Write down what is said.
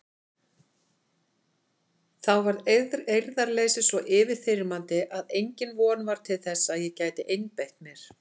Þá varð eirðarleysið svo yfirþyrmandi að engin von var til að ég gæti einbeitt mér.